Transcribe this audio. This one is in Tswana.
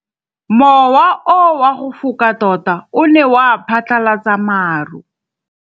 Mowa o wa go foka tota o ne wa phatlalatsa maru.